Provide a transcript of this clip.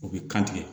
U bɛ kan tigɛ